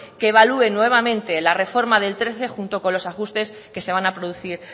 que evalué nuevamente la reforma del dos mil trece junto con los ajustes que se van a producir